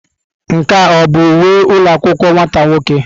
Nke a ọ bụ uwe ụlọ akwụkwọ nwata nwoke?